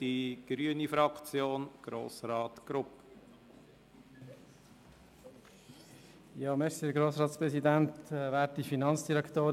Ich erteile Grossrat Grupp für die grüne Fraktion das Wort.